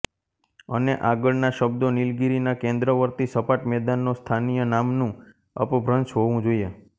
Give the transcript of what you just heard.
અને આગળના શબ્દો નિલગિરીના કેંદ્રવર્તી સપાટ મેદાનનો સ્થાનીય નામ્નું અપભ્રંશ હોવું જોઈએ